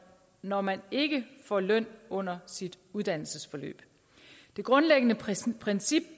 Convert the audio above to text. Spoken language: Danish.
når man ikke får løn under sit uddannelsesforløb det grundlæggende princip princip